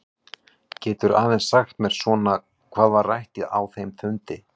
Geturðu aðeins sagt mér svona hvað var rætt á þeim fundi?